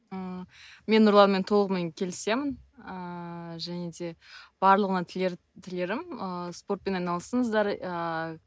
ыыы мен нұрланмен толығымен келісемін ыыы және де барлығына тілер тілерім ыыы спортпен айналысыңыздар ыыы